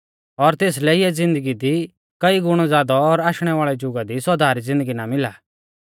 और तेसलै इऐं ज़िन्दगी दी कई गुणौ ज़ादौ और आशणै वाल़ै जुगा दी सौदा री ज़िन्दगी ना मिला